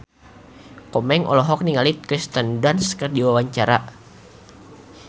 Komeng olohok ningali Kirsten Dunst keur diwawancara